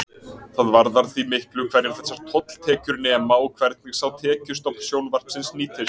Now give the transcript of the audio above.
Það varðar því miklu hverju þessar tolltekjur nema og hvernig sá tekjustofn sjónvarpsins nýtist.